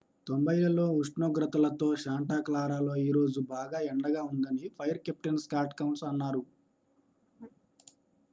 """90లలో ఉష్ణోగ్రతలతో శాంటా క్లారాలో ఈరోజు బాగా ఎండగా ఉందని ఫైర్ కెప్టెన్ స్కాట్ కౌన్స్ అన్నారు.